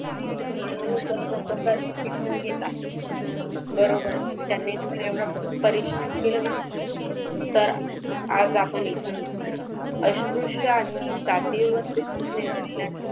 आणि तसंच शिकून घेतात बरोबर त्यांनी जर एवढं परिश्रम केलं नंतर तर आज आपण इथे नसतो अस्पृश्य आणि जातीयसाठी .